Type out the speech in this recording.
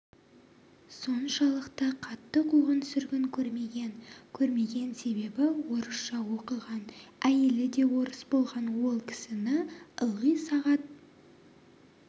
соншалықты қатты қуғын-сүргін көрмеген көрмеген себебі орысша оқыған әйелі де орыс болған ол кісіні ылғи сағат